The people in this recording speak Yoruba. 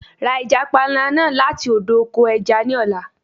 Ra ẹja panla náà láti odò oko ẹja ní ọ̀la.